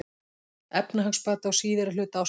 Efnahagsbati á síðari hluta ársins